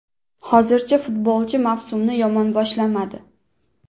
Hozircha futbolchi mavsumni yomon boshlamadi.